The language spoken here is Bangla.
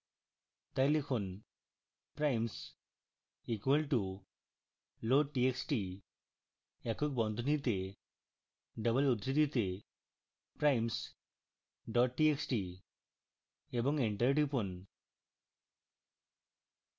txt লিখুন primes equal to loadtxt একক বন্ধনীতে double উদ্ধৃতিতে primes dot txt এবং enter টিপুন